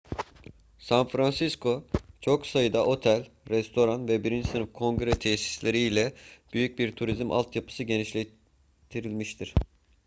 san francisco çok sayıda otel restoran ve birinci sınıf kongre tesisleri ile büyük bir turizm altyapısı geliştirmiştir